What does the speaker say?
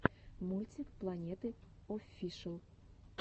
мультик планеты оффишл